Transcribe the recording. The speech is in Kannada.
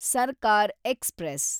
ಸರ್ಕಾರ್ ಎಕ್ಸ್‌ಪ್ರೆಸ್